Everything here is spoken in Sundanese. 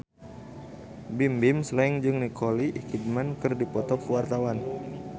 Bimbim Slank jeung Nicole Kidman keur dipoto ku wartawan